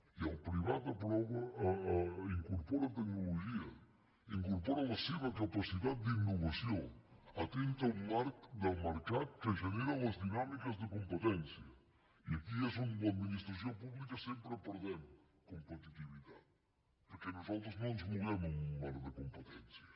i el privat incorpora tecnologia incorpora la seva capacitat d’innovació atent a un marc del mercat que genera les dinàmiques de competència i aquí és on l’administració pública sempre perdem competitivitat perquè nosaltres no ens movem en un marc de competència